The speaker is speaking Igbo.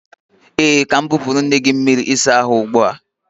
Ee, ka m nwepuru nne gi mmiri usa ahu ugbua.